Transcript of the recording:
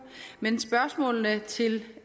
men spørgsmålene til